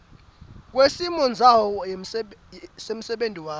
kwesimondzawo semsebenti wakho